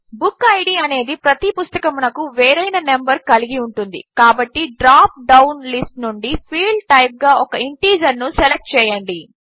book id అనేది ప్రతి పుస్తకమునకు వేరైన నంబర్ కలిగి ఉంటుంది కాబట్టి డ్రాప్ డౌన్ లిస్ట్ నుండి ఫీల్డ్ టైప్ గా ఒక ఇంటీజర్ను సెలెక్ట్ చేయండి